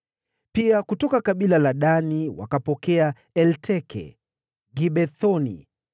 Pia kutoka kabila la Dani wakapokea Elteke, Gibethoni,